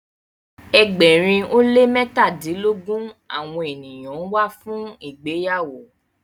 egbèrin o le mẹtadilogun awọn ènìyàn wá fun ìgbéyàwó.